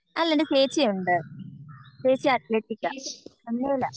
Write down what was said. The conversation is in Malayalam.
അല്ല എൻ്റെ ചേച്ചിയുണ്ട് ചേച്ചി അത്ലെറ്റിക്കാ